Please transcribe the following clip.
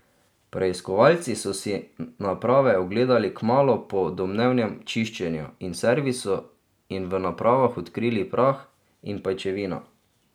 Preiskovalci so si naprave ogledali kmalu po domnevnem čiščenju in servisu in v napravah odkrili prah in pajčevino.